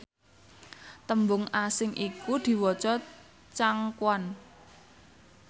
tembung asing iku diwaca changquan